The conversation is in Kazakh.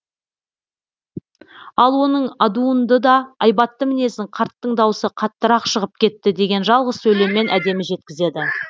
ал оның адуынды да айбатты мінезін қарттың даусы қаттырақ шығып кетті деген жалғыз сөйлеммен әдемі жеткізеді